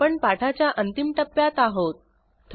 आपण पाठाच्या अंतिम टप्प्यात आहोत